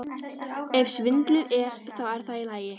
Kristinn: Ef svindlið er. þá er það í lagi?